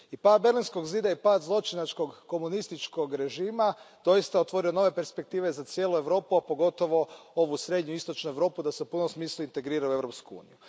I pad Berlinskog zida i pad zločinačkog komunističkog režima doista je otvorio nove perspektive za cijelu Europu, a pogotovo ovu srednju i istočnu Europu da se u punom smislu integriraju u Europsku uniju.